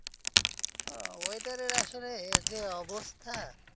আহ weather এর আসলে যে অবস্থা,